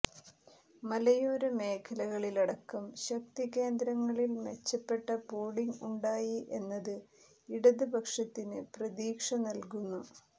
മലയോരമേഖലകളിലടക്കം ശക്തികേന്ദ്രങ്ങളിൽ മെച്ചപ്പെട്ട പോളിംഗ് ഉണ്ടായി എന്നത് ഇടത് പക്ഷത്തിന് പ്രതീക്ഷ നൽകുന്നു